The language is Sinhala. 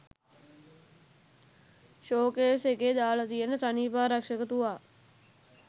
ෂෝ කේස් එකේ දාල තියෙන සනීපාරක්ෂක තුවා